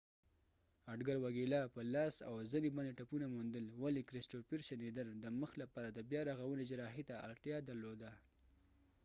اډګر وګیلا په لاس او زنی باندی ټپونه موندل ولی کریسټوفر شنیدر د مخ لپاره د بیا رغونی جراحي ته اړتیا درلوده